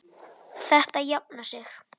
Þetta jafnar sig.